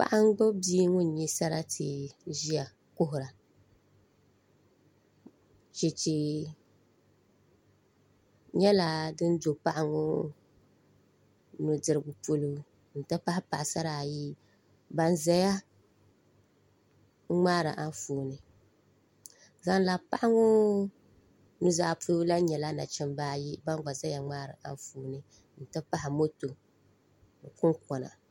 Paɣa n gbubi bia ŋun nyɛ sarati ʒiya kuhura chɛchɛ nyɛla ŋun do paɣa ŋo nudirigu polo n ti pahi paɣasara ayi ban ʒɛya ŋmaari Anfooni zaŋ labi paɣa ŋo nuzaa polo lahi nyɛla nachimbi ayi ban ʒɛya ŋmaari Anfooni n ti pahi moto ni kunkona